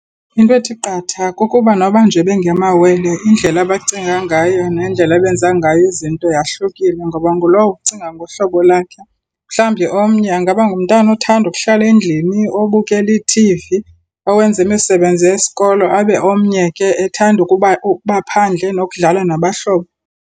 Into ethi qatha kukuba noba nje bengamawele, indlela abacinga ngayo nendlela abenza ngayo izinto yahlukile, ngoba ngulowo ucinga ngohlobo lakhe. Mhlawumbi omnye angaba ngumntana othanda ukuhlala endlini, obukela ithivi, owenza imisebenzi yesikolo, abe omnye ke ethanda ukuba ukuba phandle nokudlala nabahlobo.